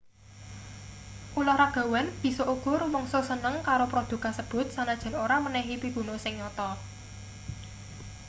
ulahragawan bisa uga rumangsa seneng karo prodhuk kasebut sanajan ora menehi piguna sing nyata